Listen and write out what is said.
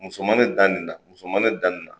Muso ma ne dan nin na, muso ma ne dan nin na.